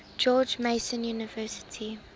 george mason university